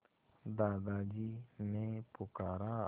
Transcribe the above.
दादाजी ने पुकारा